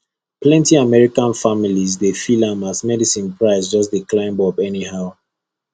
plenty american families dey feel am as medicine price just dey climb up anyhow